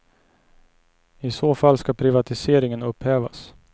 I så fall ska privatiseringen upphävas.